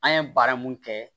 An ye baara mun kɛ